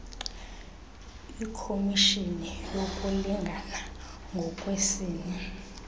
ikhomishini yokulingana ngokwesini